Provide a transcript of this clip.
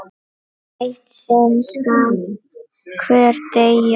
Eitt sinn skal hver deyja!